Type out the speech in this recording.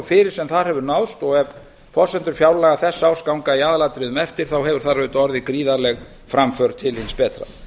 fyrir sem þar hefur náðst og ef forsendur fjárlaga þessa árs ganga í aðalatriðum eftir hefur þar auðvitað orðið gríðarleg framför til hins betra